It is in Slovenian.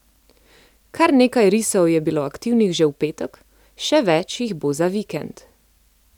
Kar nekaj risov je bilo aktivnih že v petek, še več jih bo za vikend.